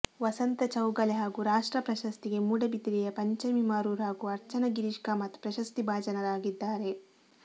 ವಸಂತ ಚೌಗಲೆ ಹಾಗೂ ರಾಷ್ಟ್ರಪ್ರಶಸ್ತಿಗೆ ಮೂಡಿಬಿದರೆಯ ಪಂಚಮಿ ಮರೂರು ಹಾಗೂ ಅರ್ಚನಾ ಗಿರೀಶ್ ಕಾಮತ್ ಪ್ರಶಸ್ತಿ ಭಾಜನರಾಗಿದ್ದಾರೆ